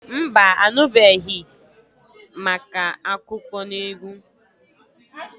Mba anubeghi màkà akụkọnaegwu.